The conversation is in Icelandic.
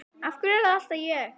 Af hverju er það alltaf ég?